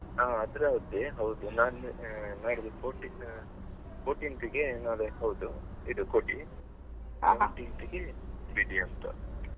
ಹಾ ಅದ್ರದ್ದೇ ಹೌದು ನಾನ್ ಆ ನಾಡಿದ್ದು fourteen fourteenth ಗೆ ಅದೇ ಹೌದು ಇದು ಕೊಡಿ . Seventeenth ಗೆ ಬೆಡಿ ಅಂತ.